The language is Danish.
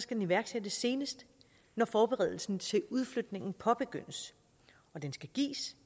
skal iværksættes senest når forberedelsen til udflytningen påbegyndes og den skal gives